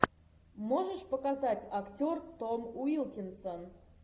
можешь показать актер том уилкинсон